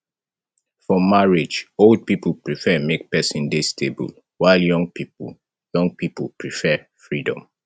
for marriage old pipo prefer make persin de stable while young pipo young pipo prefer freedom